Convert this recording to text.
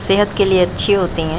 सेहत के लिए अच्छे होते हैं।